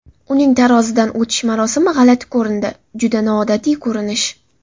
Uning tarozidan o‘tish marosimi g‘alati ko‘rindi, juda noodatiy ko‘rinish.